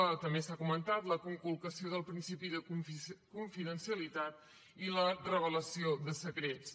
també s’ha comentat la conculcació del principi de confidencialitat i la revelació de secrets